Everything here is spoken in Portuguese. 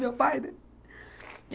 Meu pai, né?